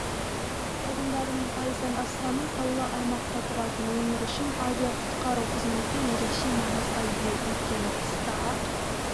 тұрғындарының пайыздан астамы таулы аймақта тұратын өңір үшін авиақұтқару қызметі ерекше маңызға ие өйткені қыста ақ